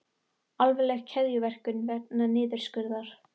Alvarleg keðjuverkun vegna niðurskurðar